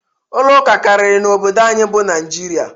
Ụlo ụka karịrị n'obodo anyị bụ Naịjirịa